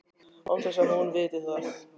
Án þess að hún viti það.